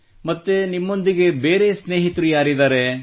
ಮತ್ತೆ ನಿಮ್ಮೊಂದಿಗೆ ಬೇರೆ ಸ್ನೇಹಿತರು ಯಾರಿದ್ದಾರೆ